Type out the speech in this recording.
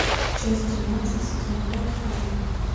часть тринадцать сезон пять фарго